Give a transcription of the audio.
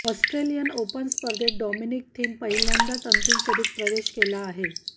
Australian Open स्पर्धेत Dominic Thiem पहिल्यांदाच अंतिम फेरीत प्रवेश केला आहे